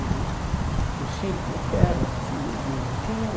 E no Chile Eu falei, eu quero, você imagina, eu quero.